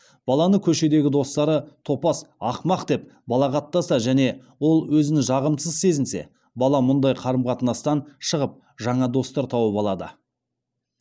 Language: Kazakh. баланы көшедегі достары топас ақымақ деп балағаттаса және ол өзін жағымсыз сезінсе бала мұндай қарым қатынастан шығып жаңа достар тауып алады